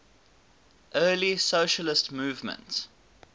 early socialist movement